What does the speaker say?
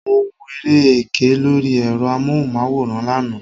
Mo wo eré ẹkẹ lóri ẹ̀rọ amóhùnmáwòrán lánàá.